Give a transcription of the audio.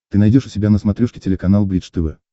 ты найдешь у себя на смотрешке телеканал бридж тв